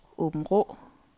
Åbenrå